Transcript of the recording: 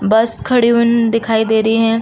बस खड़ी हुन दिखाई दे रही है।